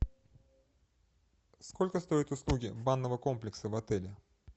сколько стоят услуги банного комплекса в отеле